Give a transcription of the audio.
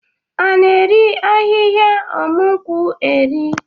A na-eri ahịhịa ọmụ nkwụ eri?